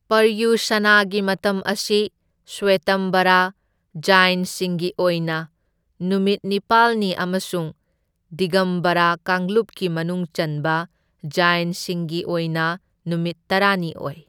ꯄꯔꯌꯨꯁꯥꯅꯥꯒꯤ ꯃꯇꯝ ꯑꯁꯤ ꯁ꯭ꯋꯦꯇꯝꯕꯔꯥ ꯖꯥꯢꯟꯁꯤꯡꯒꯤ ꯑꯣꯏꯅ ꯅꯨꯃꯤꯠ ꯅꯤꯄꯥꯜꯅꯤ ꯑꯃꯁꯨꯡ ꯗꯤꯒꯝꯕꯔꯥ ꯀꯥꯡꯂꯨꯞꯀꯤ ꯃꯅꯨꯡ ꯆꯟꯕ ꯖꯥꯢꯟꯁꯤꯡꯒꯤ ꯑꯣꯏꯅ ꯅꯨꯃꯤꯠ ꯇꯔꯥꯅꯤ ꯑꯣꯏ꯫